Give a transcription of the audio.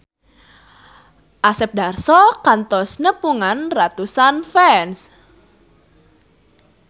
Asep Darso kantos nepungan ratusan fans